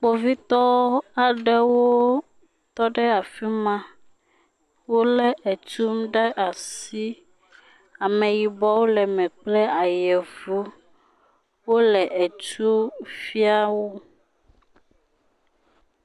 Kpovitɔɔ aɖewo tɔ ɖe afi ma. Wolé etum ɖe asi. Ameyibɔwo le me kple ayevu. Wole etu fia wo.